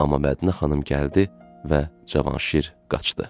Amma Mədinə xanım gəldi və Cavanşir qaçdı.